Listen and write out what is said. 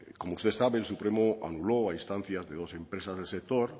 como usted sabe el supremo anuló a instancias de dos empresas del sector